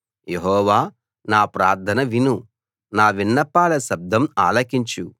యెహోవా నా ప్రార్థన విను నా విన్నపాల శబ్దం ఆలకించు